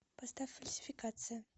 поставь фальсификация